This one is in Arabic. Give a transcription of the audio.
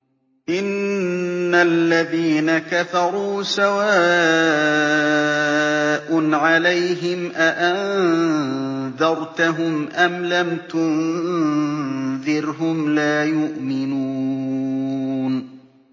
إِنَّ الَّذِينَ كَفَرُوا سَوَاءٌ عَلَيْهِمْ أَأَنذَرْتَهُمْ أَمْ لَمْ تُنذِرْهُمْ لَا يُؤْمِنُونَ